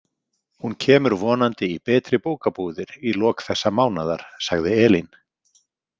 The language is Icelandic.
Hún kemur vonandi í betri bókabúðir í lok þessa mánaðar, sagði Elín.